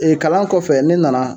kalan kɔfɛ ne nana